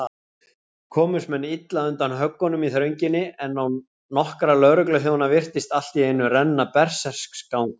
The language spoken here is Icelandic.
Komust menn illa undan höggunum í þrönginni, en á nokkra lögregluþjóna virtist alltíeinu renna berserksgangur.